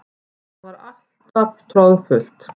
Það var alltaf troðfullt.